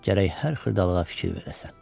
Gərək hər xırdalığa fikir verəsən.